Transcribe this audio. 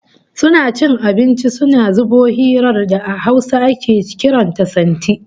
Suna cin abinci suna zubo irin hirar da a Hausa ake kiran ta "santi"